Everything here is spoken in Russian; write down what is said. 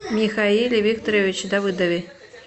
михаиле викторовиче давыдове